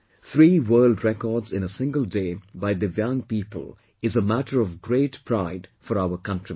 Three world records in a single day by DIVYANG people is a matter of great pride for our countrymen